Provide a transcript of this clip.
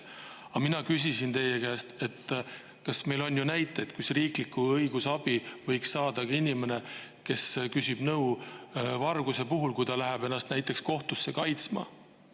Mina küsisin teie käest selle kohta, et meil on ju näiteid, et riiklikku õigusabi võib saada ka inimene, kes küsib nõu varguse asjus, näiteks kui ta läheb ennast kohtusse kaitsma.